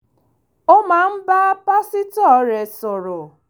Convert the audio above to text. ó máa ń bá pásítọ̀ rẹ̀ sọ̀rọ̀